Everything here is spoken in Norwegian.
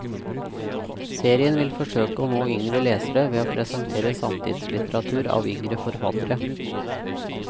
Serien vil forsøke å nå yngre lesere ved å presentere samtidslitteratur av yngre forfattere.